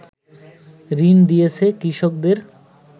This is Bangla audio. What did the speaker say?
ঋণ দিয়েছে কৃষকদের